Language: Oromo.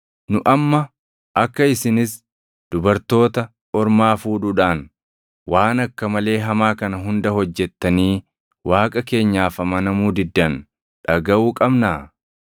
Nu amma akka isinis dubartoota ormaa fuudhuudhaan waan akka malee hamaa kana hunda hojjettanii Waaqa keenyaaf amanamuu diddan dhagaʼuu qabnaa?”